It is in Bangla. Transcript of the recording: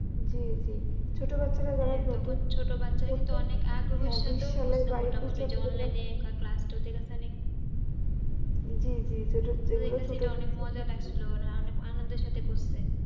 জি জি ছোট বাচ্চারা যারা হ্যাঁ তখন ছোট বাচ্চারা কিন্তু অনেক অনেক আগ্রহ সাথেও জলে নিয়ে class two তে জি জি, এখান থেকে অনেক মজা লাগছিল ওরা অনেক আনন্দের সাথে করছে